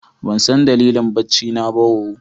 Ban san dalilin bacci na ba ooo.